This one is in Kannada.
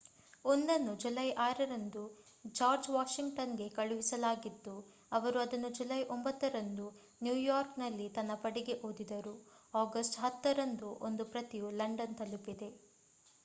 ಒಂದನ್ನು ಜುಲೈ 6 ರಂದು ಜಾರ್ಜ್ ವಾಷಿಂಗ್ಟನ್‌ಗೆ ಕಳುಹಿಸಲಾಗಿದ್ದು ಅವರು ಅದನ್ನು ಜುಲೈ 9 ರಂದು ನ್ಯೂಯಾರ್ಕ್‌ನಲ್ಲಿ ತನ್ನ ಪಡೆಗೆ ಓದಿದರು. ಆಗಸ್ಟ್‌ 10 ರಂದು ಒಂದು ಪ್ರತಿಯು ಲಂಡನ್‌ ತಲುಪಿದೆ